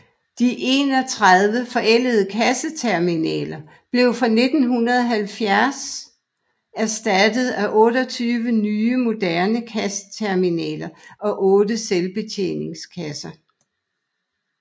De 31 forældede kasseterminaler fra 1970 blev erstattet af 28 nye moderne kasseterminaler og otte selvbetjeningskasser